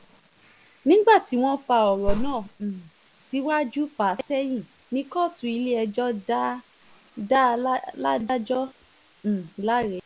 nígbà tí wọ́n fa ọ̀rọ̀ náà um síwájú fà á sẹ́yìn ni kóòtù ilé-ẹjọ́ dá ládọ́jà um láre